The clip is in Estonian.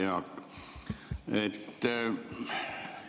Hea Jaak!